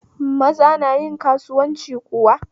Maza nayin karuwanci kuwa?